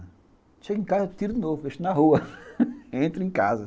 Chego em casa, tiro de novo, deixo na rua, entro em casa.